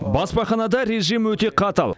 баспаханада режим өте қатал